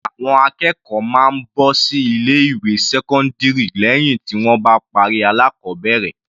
Àwọn akẹ́kọ̀ọ́ máa ń bọ́ sí ilé ìwé sẹ́kọ́ndírì lẹ́hìn tí wọ́n bá parí alákọbẹ̀rẹ̀.